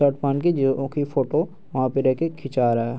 Shirt पहन के जे ओ की फोटो वहाँ पे खिंचा रहा है।